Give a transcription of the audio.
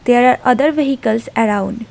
there are other vehicles around.